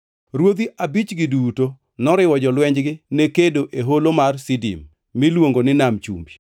Ruodhi abichgi duto noriwo jolwenjgi ne kedo e Holo mar Sidim (miluongo ni Nam chumbi).